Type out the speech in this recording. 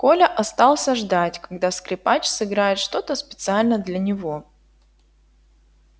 коля остался ждать когда скрипач сыграет что то специально для него